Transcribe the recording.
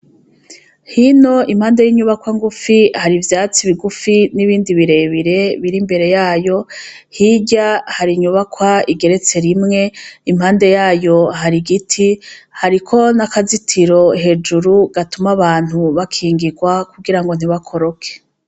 Hino impande y'inyubakwa ngufi Hari ivyatsi bigufi n'ibindi birebire biri imbere yayo hirya hari inyubakwa igeretse rimwe impande yayo Hari igiti hariko n'akazitiro hejuru gatuma abantu bakingirwa kugira ngo ntibakoroke.